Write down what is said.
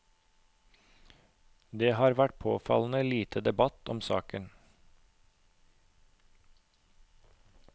Det har vært påfallende lite debatt om saken.